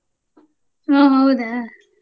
ಹ್ಮ ಹೌದಾ?